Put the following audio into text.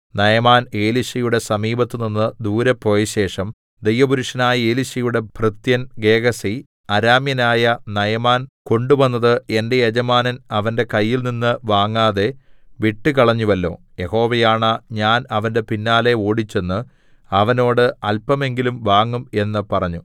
നയമാൻ എലീശയുടെ സമീപത്ത് നിന്ന് ദൂരെ പോയശേഷം ദൈവപുരുഷനായ എലീശയുടെ ഭൃത്യൻ ഗേഹസി അരാമ്യനായ നയമാൻ കൊണ്ടുവന്നത് എന്റെ യജമാനൻ അവന്റെ കയ്യിൽനിന്ന് വാങ്ങാതെ വിട്ടുകളഞ്ഞുവല്ലോ യഹോവയാണ ഞാൻ അവന്റെ പിന്നാലെ ഓടിച്ചെന്ന് അവനോട് അല്പമെങ്കിലും വാങ്ങും എന്ന് പറഞ്ഞു